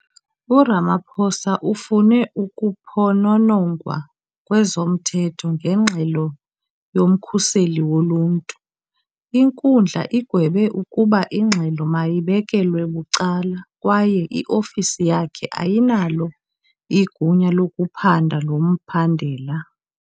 URamaphosa ufune ukuphononongwa kwezomthetho ngengxelo yoMkhuseli Woluntu, inkundla igwebe ukuba ingxelo mayibekelwe bucala kwaye iofisi yakhe ayinalo igunya lokuphanda lo mbandela.